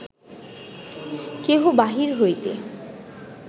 কেহ বাহির হইতে